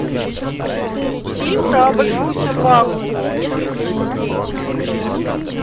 фильм про большую собаку несколько частей